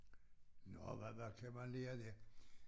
Nåh hvad hvad kan man lære der?